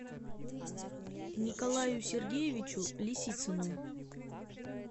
николаю сергеевичу лисицыну